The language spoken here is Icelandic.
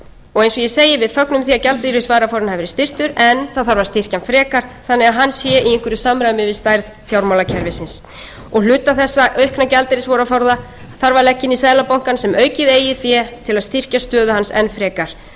og eins og ég segi við fögnum því að gjaldeyrisvaraforðinn hafi verði styrktur en það þarf að styrkja hann frekar þannig að hann sé í einhverju samræmi við stærð fjármálakerfisins og hluta þessa aukna gjaldeyrisforða þarf að leggja inn í se seðlabankann sem aukið eigið fé til að styrkja stöðu hans enn frekar